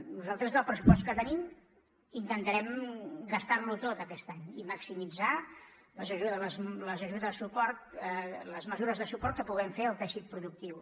nosaltres el pressupost que tenim intentarem gastar lo tot aquest any i maximitzar les ajudes les mesures de suport que puguem fer al teixit productiu